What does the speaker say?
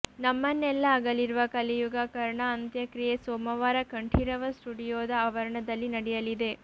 ನಮ್ಮನ್ನೆಲ್ಲ ಅಗಲಿರುವ ಕಲಿಯುಗ ಕರ್ಣ ಅಂತ್ಯಕ್ರಿಯೆ ಸೋಮವಾರ ಕಂಠೀರವ ಸ್ಟುಡಿಯೋದ ಆವರಣದಲ್ಲಿ ನಡೆಯಲಿದೆ